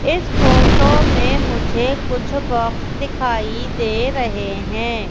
इस फोटो में मुझे कुछ बॉक्स दिखाई दे रहें हैं।